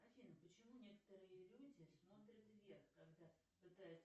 афина почему некоторые люди смотрят вверх когда пытаются